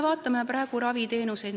Vaatame raviteenuseid.